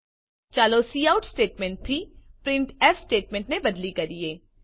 ચાલો cout statement થી printf statement બદલી કરીએ